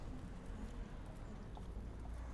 павел харитонов